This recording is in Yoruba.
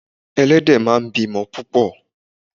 Ẹlẹ́dẹ̀ máa ń bí ọmọ púpò.